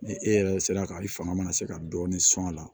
Ni e yɛrɛ sera ka i fanga mana se ka dɔɔni sɔr'a la